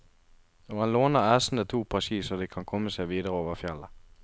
Og han låner æsene to par ski, så de kan komme seg videre over fjellet.